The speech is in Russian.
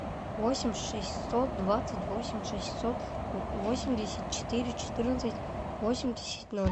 восемь шестьсот двадцать восемь шестьсот восемьдесят четыре четырнадцать восемьдесят ноль